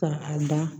Ka a da